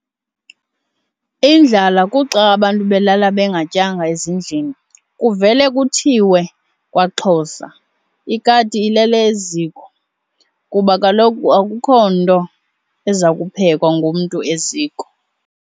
indlala kuxa abantu belala bengatyanga ezindlini. Kuvelwe kuthiwe kwaXhosa "Ikati ilele eziko" kuba kaloku akukho nto ezakuphekwa ngumntu eziko.